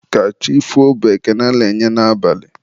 ka chi foo bụ ekele a na-enye n'abalị.